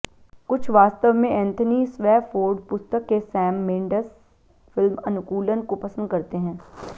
कुछ वास्तव में एंथनी स्वैफोर्ड पुस्तक के सैम मेंडेस फिल्म अनुकूलन को पसंद करते हैं